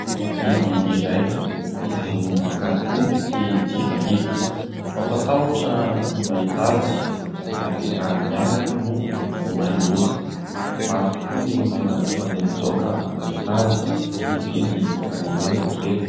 Biby iray izay miavaka tokoa sy tsy fahita. Mampatahotra ny mahita azy ary raha amin'ny alina aza moa vao miha loza. Maro tokoa ny olona tonga dia mitsoaka vao mahita azy, tsy mifidy na lehibe na kely.